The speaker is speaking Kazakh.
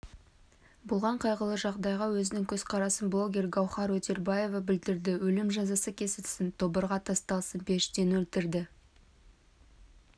болған қайғылы жағдайға өзінің көзқарасын блогер гаухар өтелбаева білдірді өлім жазасы кесілсін тобырға тасталсын періштені өлтірді